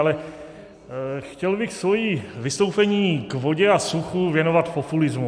Ale chtěl bych svoje vystoupení k vodě a suchu věnovat populismu.